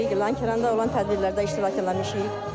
Lənkəranda olan tədbirlərdə iştirak eləmişik.